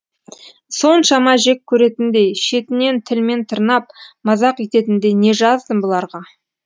соншама жек көретіндей шетінен тілмен тырнап мазақ ететіндей не жаздым бұларға